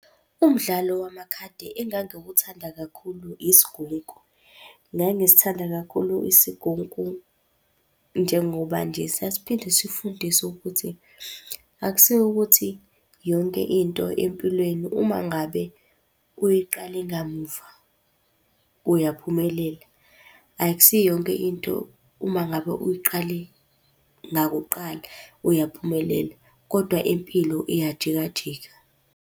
Umdlalo wamakhadi engangiwuthanda kakhulu isigunku. Ngangisithanda kakhulu isigunku, njengoba nje sasiphinde sifundise ukuthi akusikho ukuthi yonke into empilweni uma ngabe uyiqale ngamuva uyaphumelela. Akusiyo yonke into uma ngabe uyiqale ngakuqala uyaphumelela, kodwa impilo iyajika jika.